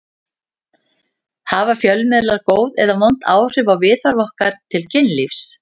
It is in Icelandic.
Hafa fjölmiðlar góð eða vond áhrif á viðhorf okkar til kynlífs?